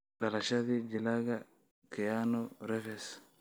Dhalashadii Jilaaga Keanu Reeves